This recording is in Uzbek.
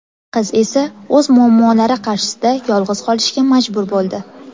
Qiz esa o‘z muammolari qarshisida yolg‘iz qolishga majbur bo‘ldi.